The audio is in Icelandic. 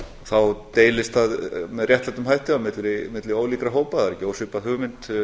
þá deilist það með réttlátari hætti milli ólíkra hópa það er ekki ósvipað hugmynd